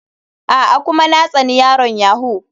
A'a, kuma na tsani yaron yahoo.